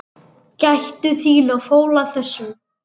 Gættu þín á fóla þessum.